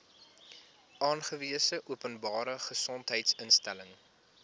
aangewese openbare gesondheidsinstelling